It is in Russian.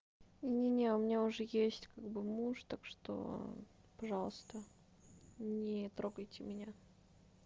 не меня у меня уже есть как бы муж так что пожалуйста не трогайте меня